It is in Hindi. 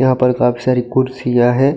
यहां पर काफी सारी कुर्सियां है